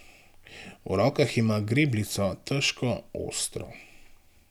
V rokah ima grebljico, težko, ostro.